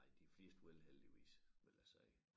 Ej de fleste vil heldigvis vil jeg sige